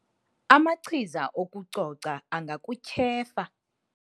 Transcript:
Amachiza okucoca angakutyhefa